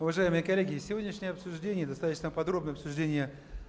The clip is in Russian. уважаемые коллеги сегодняшнее обсуждение достаточно подробное обсуждение